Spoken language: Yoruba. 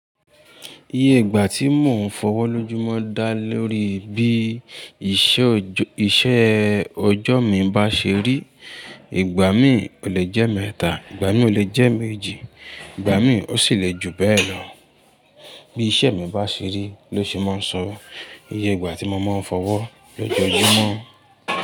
Iye ìgbà tí mò ń fọwọ́ lójú mọ́ dá lórí bí iṣẹ́ ọjọ́ mi bá ṣe rí. Igba mi o le jẹ ẹmẹta, ìgbà mi o le jẹ ẹméjì, ìgbà mi o sí lè ju bẹ lọ. Bí iṣẹ́ mi bá ṣe rí ló ṣe máa ń sọ iye ìgbà tí mo máa ń fọwọ́ lójú mọ́.